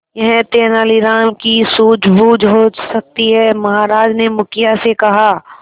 यह तेनालीराम की सूझबूझ हो सकती है महाराज ने मुखिया से कहा